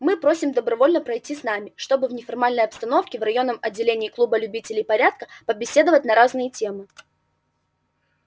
мы просим добровольно пройти с нами чтобы в неформальной обстановке в районном отделении клуба любителей порядка побеседовать на разные темы